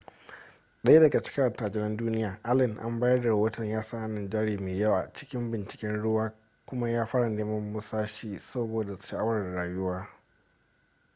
daya daga cikin attajiran duniya allen an bayar da rahoton ya sa hannun jari mai yawa a cikin binciken ruwa kuma ya fara neman musashi saboda sha'awar rayuwa